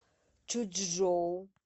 чучжоу